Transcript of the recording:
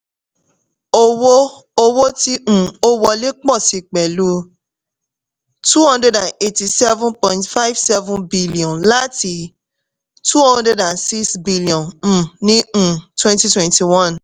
owó owó tí um ó wọlé pọ̀ sí pẹ̀lúu two hundred and eighty-seven point five seven billion láti two hundred and six billion um ní um twenty twenty-one